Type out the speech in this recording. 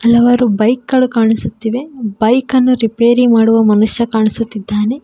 ಹಲವಾರು ಬೈಕ್ ಗಳು ಕಾಣಿಸುತ್ತಿವೆ ಬೈಕ್ ಅನ್ನು ರಿಪೇರಿ ಮಾಡುವ ಮನುಷ್ಯ ಕಾಣಿಸುತ್ತಿದ್ದಾನೆ.